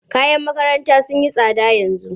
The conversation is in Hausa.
Kayan makaranta sun yi tsada yanzu.